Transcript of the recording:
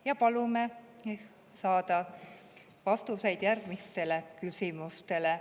Me palume vastuseid järgmistele küsimustele.